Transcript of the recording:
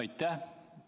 Aitäh!